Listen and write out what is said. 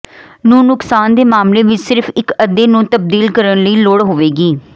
ਨੂੰ ਨੁਕਸਾਨ ਦੇ ਮਾਮਲੇ ਵਿਚ ਸਿਰਫ ਇਕ ਅੱਧੇ ਨੂੰ ਤਬਦੀਲ ਕਰਨ ਦੀ ਲੋੜ ਹੋਵੇਗੀ